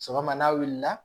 Sɔgɔma n'a wulila